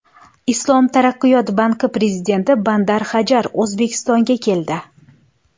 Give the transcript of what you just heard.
Islom taraqqiyot banki prezidenti Bandar Hajar O‘zbekistonga keldi.